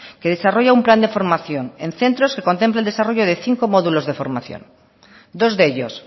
que desarrolla un plan de formación en centros que contempla el desarrollo de cinco módulos de formación dos de ellos